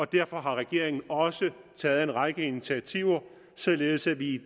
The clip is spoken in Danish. derfor har regeringen også taget en række initiativer således at vi i